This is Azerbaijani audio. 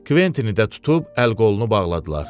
Kventini də tutub əl-qolunu bağladılar.